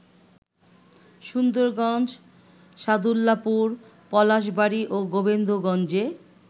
সুন্দরগঞ্জ, সাদুল্লাপুর, পলাশবাড়ী ও গোবিন্দগঞ্জে